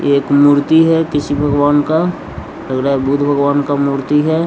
ये एक मूर्ति है किसी भगवान का लग रहा है बुध भगवान का मूर्ति है --